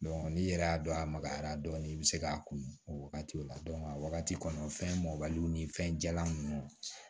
n'i yɛrɛ y'a dɔn a magayara dɔɔni i bɛ se k'a kun o wagati o la a wagati kɔnɔ fɛn mɔbaliw ni fɛn jalan nunnu